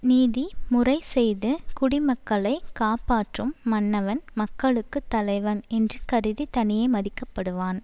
நீதி முறை செய்து குடிமக்களை காப்பாற்றும் மன்னவன் மக்களுக்கு தலைவன் என்று கருதித் தனியே மதிக்கப்படுவான்